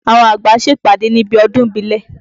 Àwọn àgbà ń ṣèpàdé níbi ọdún ìbílẹ̀.